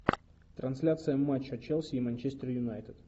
трансляция матча челси и манчестер юнайтед